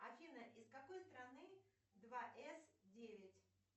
афина из какой страны два эс девять